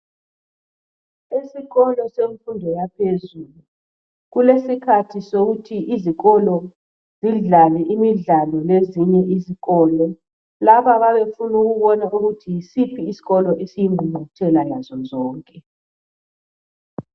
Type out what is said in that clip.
Esikolo semfundo yaphezulu kulesikhathi sokuthi izikolo zidlale imidlalo lezinye izikolo laba bayabe befuna ukubona ukuthi yisiphi isikolo esiyingqunquthela yazo zonke .